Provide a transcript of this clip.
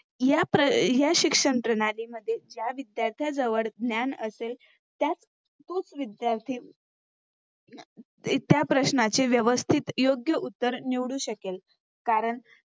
या शिक्षणप्रणालीमध्ये ज्या विध्यार्थ्याजवळ ज्ञान असेल त्याच तोच विध्यार्थी त्या प्रश्नांची व्यवस्थित योग्य उत्तर निवडू शकेल. कारण